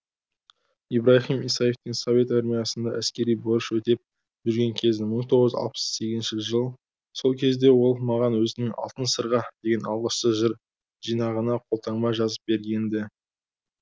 ибраһим исаевтің совет армиясында әскери борыш өтеп жүрген кезі мың тоғыз жүз алпыс сегіз жыл сол кезде ол маған өзінің алтын сырға деген алғашқы жыр жинағына қолтаңба жазып берген ді